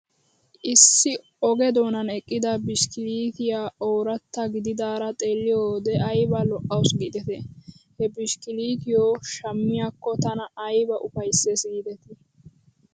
Issi oge doonan eqqida bishkiliitiyaa ooratta gididaara xeeliyoo wode ayba lo'aws giidetii? He bishkiliitiyoo shammiyaakko tana ayba ufaysses giidetii ?